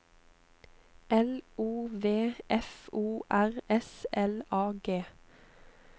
L O V F O R S L A G